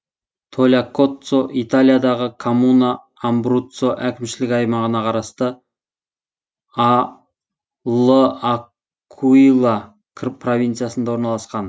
тальякоццо италиядағы коммуна амбруццо әкімшілік аймағына қарасты л акуила провинциясында орналасқан